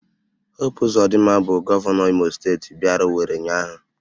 Hopu Ụzodịmma bụ Gọvanọ Imo steeti bịara Owere ụnyahụ